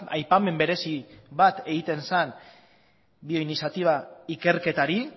aipamen berezi bat egiten zen bioiniziatiba ikerketari